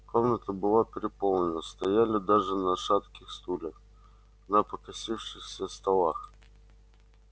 комната была переполнена стояли даже на шатких стульях на покосившихся столах